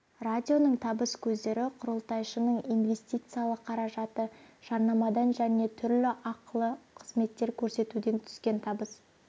радионың табыс көздері құрылтайшының инвестициялық қаражаты жарнамадан және түрлі ақылы қызметтер көрсетуден түскен табыс